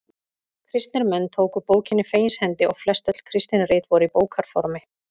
Kristnir menn tóku bókinni fegins hendi og flest öll kristin rit voru í bókarformi.